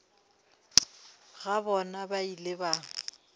ga bona ba ile ba